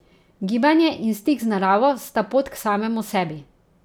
Gibanje in stik z naravo sta pot k samemu sebi.